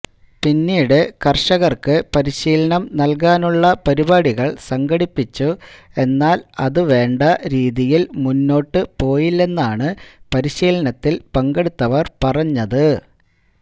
പിന്നീട് കര്ഷകര്ക്ക് പരിശീലനം നല്കാനുള്ള പരിപാടികള് സംഘടിപ്പിച്ചു എന്നാല് അത് വേണ്ട രീതിയില് മുന്നോട്ട് പോയില്ലെന്നാണ് പരിശീലനത്തില് പങ്കെടുത്തവര് പറഞ്ഞത്